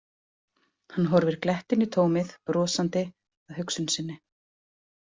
Hann horfir glettinn í tómið, brosandi að hugsun sinni.